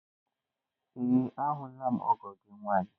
Ee ahụla m ọgọ gị nwaanyị.